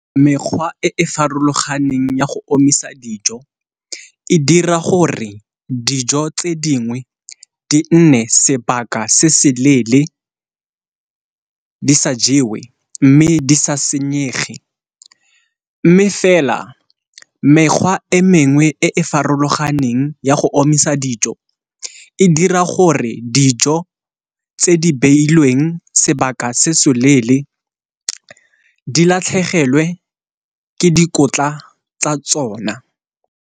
Mekgwa e e farologaneng ya go omisa dijo e dira gore dijo tse dingwe di nne sebaka se se leele di sa jewe mme di sa senyege, mme fela mekgwa e mengwe e e farologaneng ya go omisa dijo e dira gore dijo tse di beilweng sebaka se se leele di latlhegelwe ke dikotla tsa tsona.